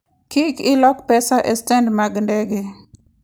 Kik ilok pesa e stend mag ndege.